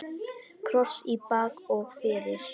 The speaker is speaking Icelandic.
Kross í bak og fyrir.